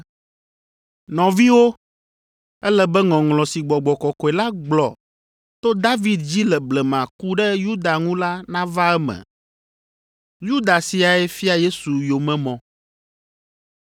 “Nɔviwo, ele be ŋɔŋlɔ si Gbɔgbɔ kɔkɔe la gblɔ to David dzi le blema ku ɖe Yuda ŋu la nava eme. Yuda siae fia Yesu yomemɔ.